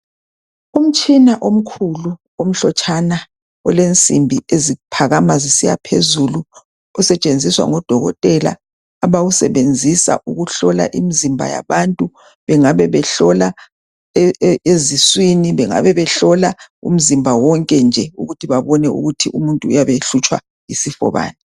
Umtshina omkhulu omhlotshana olensimbi eziphakama zisiya phezulu, osetshenziswa ngo Dokotela, abawusebenzisa ukuhlola imizimba yabantu, bengabe behlola eziswini, bengabe behlola umzimba wonke nje ukuthi babone ukuthi umuntu uyabe ehlutshwa yisifo bani.